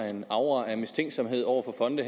en aura af mistænksomhed over for fonde